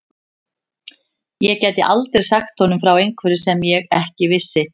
Ég gæti aldrei sagt honum frá einhverju sem ég ekki vissi.